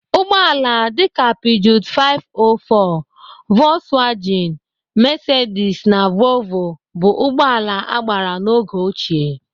Ụgbọala dịka pijoot 504, vokswejin, mesedis na voovoo bụ ụgbọala agbara n'oge ochie.